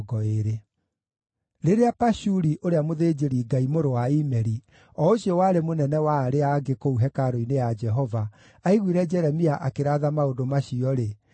Rĩrĩa Pashuri ũrĩa mũthĩnjĩri-Ngai, mũrũ wa Imeri, o ũcio warĩ mũnene wa arĩa angĩ kũu hekarũ-inĩ ya Jehova, aiguire Jeremia akĩratha maũndũ macio-rĩ,